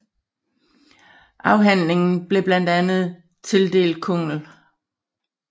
Afhandlingen blev blandt andet tildelt Kungl